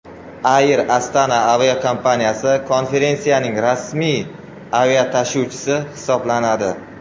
Air Astana aviakompaniyasi konferensiyaning rasmiy aviatashuvchisi hisoblanadi.